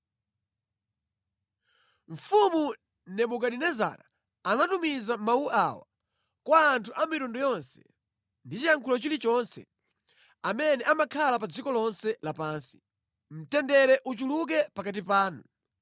Mfumu Nebukadinezara anatumiza mawu awa kwa anthu a mitundu yonse, ndi chiyankhulo chilichonse, amene amakhala pa dziko lonse lapansi: Mtendere uchuluke pakati panu!